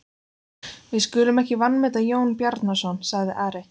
Við skulum ekki vanmeta Jón Bjarnason, sagði Ari.